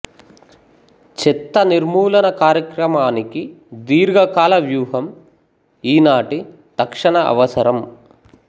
చెత్త నిర్మూలన కార్యక్రమానికి దీర్ఘకాల వ్యూహం ఈనాటి తక్షణ అవసరం